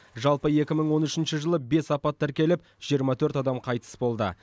жалпы екі мың он үшінші жылы бес апат тіркеліп жиырма төрт адам қайтыс болды